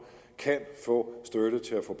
kan få støtte til at få